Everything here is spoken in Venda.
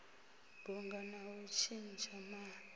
bunga na u tshintsha ma